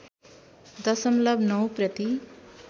दशमलब ९ प्रति